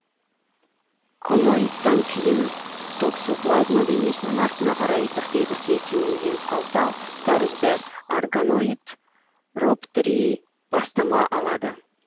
коноидтан кейін токсоплазма денесінің артына қарай бірте бірте кеңейген қалта тәрізді оргоноид роптрий бастама алады